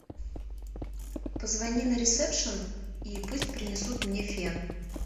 позвони на ресепшен и пусть принесут мне фен